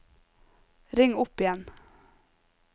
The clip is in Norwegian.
ring opp igjen